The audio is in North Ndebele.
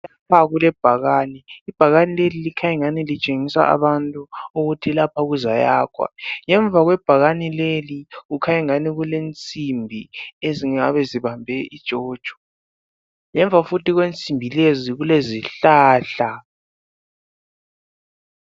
Lapha kulebhakani. Ibhakani leli likhany' engani litshengisa abantu ukuthi lapha kuzayakhwa. Ngemva kwebhakani leli, kukhy' engani kulensimbi ezingabe zibambe ujojo. Ngemva futhi kwensimbi lezi kulezihlahla.